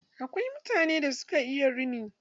Akwai mutanen da suka iya rini.